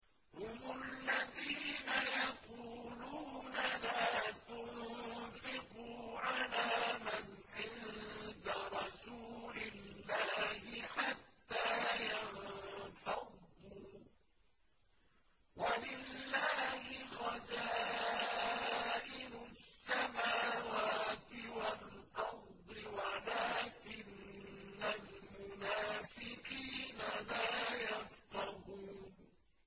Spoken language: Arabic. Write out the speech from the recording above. هُمُ الَّذِينَ يَقُولُونَ لَا تُنفِقُوا عَلَىٰ مَنْ عِندَ رَسُولِ اللَّهِ حَتَّىٰ يَنفَضُّوا ۗ وَلِلَّهِ خَزَائِنُ السَّمَاوَاتِ وَالْأَرْضِ وَلَٰكِنَّ الْمُنَافِقِينَ لَا يَفْقَهُونَ